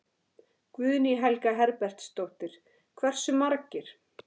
Guðný Helga Herbertsdóttir: Hversu margir?